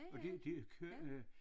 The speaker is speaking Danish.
Og det det kører øh